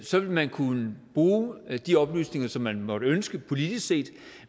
så vil man kunne bruge de oplysninger som man måtte ønske politisk set